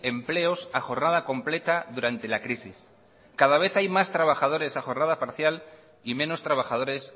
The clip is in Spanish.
empleos a jornada completa durante la crisis cada vez hay más trabajadores a jornada parcial y menos trabajadores